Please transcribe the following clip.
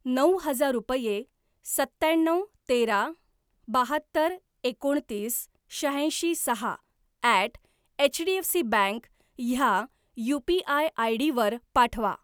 नऊ हजार रुपये सत्त्याण्णव तेरा बाहत्तर एकोणतीस शहाऐंशी सहा ॲट एचडीएफसीबँक ह्या यू.पी.आय. आयडी वर पाठवा.